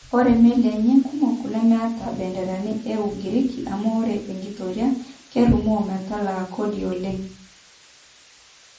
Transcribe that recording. Ore melii enye kumok nemetaa mbenderani e ugiriki, amu ore enkitoria kerumoo metalaa kodi oleng